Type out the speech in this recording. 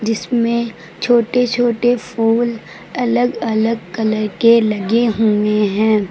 इसमें छोटे छोटे फूल अलग अलग कलर के लगे हुए हैं।